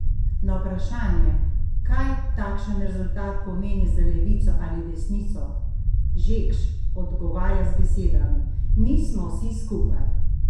Na vprašanje, kaj takšen rezultat pomeni za levico ali desnico, Žekš odgovarja z besedami: "Mi smo vsi skupaj.